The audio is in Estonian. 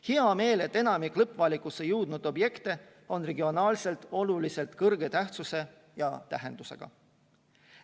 Hea meel on, et enamik lõppvalikusse jõudnud objekte on regionaalselt kõrge tähtsuse ja tähendusega.